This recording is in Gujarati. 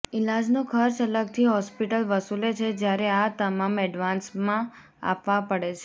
ઈલાજનો ખર્ચ અલગથી હોસ્પિટલ વસુલે છે જ્યારે આ તમામ એડવાન્સમાં આપવા પડે છે